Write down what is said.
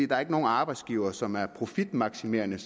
der er ikke nogen arbejdsgivere som er profitmaksimerende